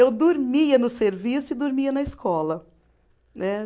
Eu dormia no serviço e dormia na escola. Né